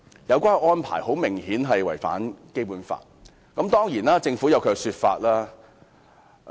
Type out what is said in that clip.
有關安排明顯違反《基本法》，但政府當然有其說法。